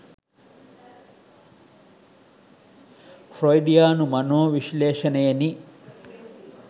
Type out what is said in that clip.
ෆ්‍රොයිඩියානු මනෝ විශ්ලේෂණයෙනි.